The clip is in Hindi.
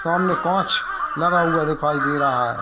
सामने काँच लगा हुआ दिखाई दे रहा है।